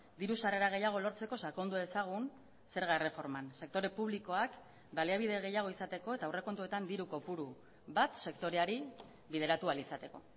diru sarrera gehiago lortzeko sakondu dezagun zerga erreforman sektore publikoak baliabide gehiago izateko eta aurrekontuetan diru kopuru bat sektoreari bideratu ahal izateko